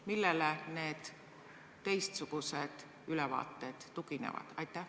Millele need teistsugused ülevaated tuginevad?